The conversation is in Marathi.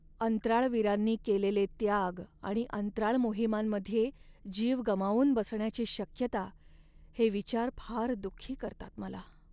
अंतराळवीरांनी केलेले त्याग आणि अंतराळ मोहिमांमध्ये जीव गमावून बसण्याची शक्यता हे विचार फार दुःखी करतात मला.